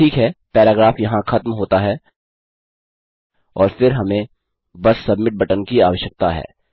ठीक है पैराग्राफ यहाँ खत्म होता है और फिर हमें बस सबमिट बटन की आवश्यकता है